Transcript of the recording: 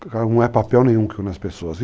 Não é papel nenhum que une as pessoas.